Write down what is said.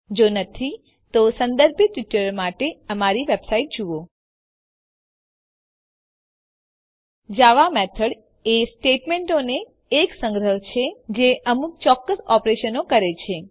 જો નથી તો સંદર્ભિત ટ્યુટોરીયલો માટે અમારી વેબસાઈટ જુઓ httpwwwspoken tutorialઓર્ગ જાવા મેથડ એ સ્ટેટમેંટોનો એક સંગ્રહ છે જે અમુક ચોક્કસ ઓપરેશનો કરે છે